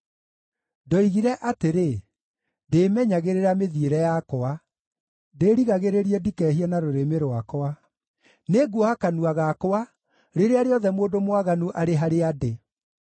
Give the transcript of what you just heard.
Ndoigire atĩrĩ, “Ndĩĩmenyagĩrĩra mĩthiĩre yakwa, ndĩrigagĩrĩrie ndikehie na rũrĩmĩ rwakwa; nĩnguoha kanua gakwa rĩrĩa rĩothe mũndũ mwaganu arĩ harĩa ndĩ.”